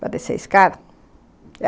para descer a escada.